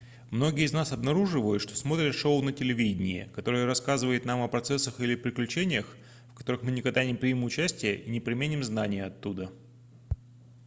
многие из нас обнаруживают что смотрят шоу на телевидении которое рассказывает нам о процессах или приключениях в которых мы никогда не примем участия и не применим знания оттуда